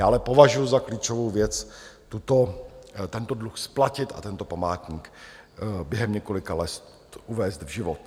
Já ale považuju za klíčovou věc tento dluh splatit a tento památník během několika let uvést v život.